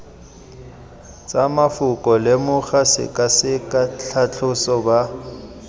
tsa mafoko lemoga sekaseka tlhatlhoba